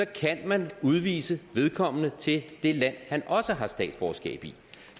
kan man udvise vedkommende til det land han også har statsborgerskab i